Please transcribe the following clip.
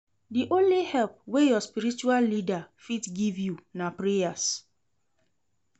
Di only help wey your spiritual leader fit give you na prayers.